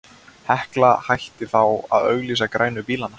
Hekla hætti þá að auglýsa grænu bílana.